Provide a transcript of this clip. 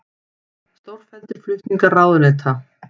Stórfelldir flutningar ráðuneyta